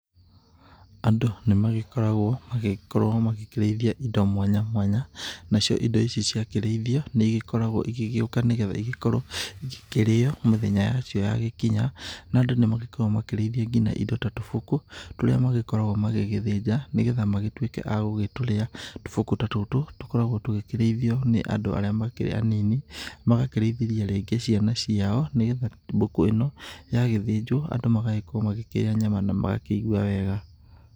Andũ nĩmagĩkoragwo magĩkorwo makĩrĩithia indo mwanya mwanya, nacio indo ici ciakĩrĩithio, nĩigĩkoragwo igĩgĩtuĩka igĩkĩkĩrĩo nĩgetha mĩthenya yacio yagĩkinya, na andũ nĩmagĩkoragwo magĩkĩrĩithia nginya indo ta tũbũkũ tũrĩa magĩgĩkoragwo magĩthĩnja nĩgetha magĩtuĩke agũgĩtũrĩa. Tũbũkũ ta tũtũ tũkoragwo tũgĩkĩrĩithio nĩ andũ arĩa makĩrĩ anini, magakĩrĩithĩria rĩngĩ ciana ciao nĩgetha mbũkũ ĩno yagĩthĩnjwo, andũ magagĩgĩkorwo makĩrĩa nyama na magakĩigua wega.